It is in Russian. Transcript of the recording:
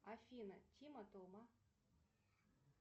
афина тима тома